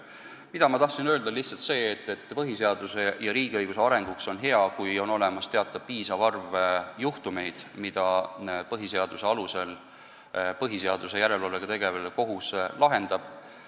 Mida ma tahtsin öelda, on lihtsalt see, et põhiseaduse ja riigiõiguse arengu seisukohalt on hea, kui on olemas piisav arv juhtumeid, mida põhiseaduse alusel põhiseaduslikkuse järelevalvega tegelev kohus lahendab.